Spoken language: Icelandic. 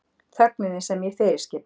Þögninni sem ég fyrirskipa.